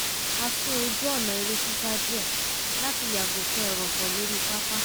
a sún ojú ọ̀nà eré sísá díẹ̀ láti yàgò fún ẹrọ̀fọ̀ lórí pápá